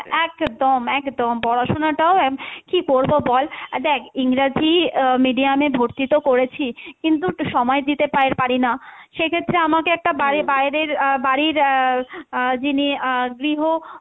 একদম একদম পড়াশুনাটাও কী করবো বল? দেখ ইংরাজি আহ medium এ ভর্তি তো করেছি কিন্তু সময় দিতে পা~পারিনা সে ক্ষেত্রে আমাকে একটা বাই~ বাইরের আহ বাড়ির আহ আহ যিনি আহ গৃহ,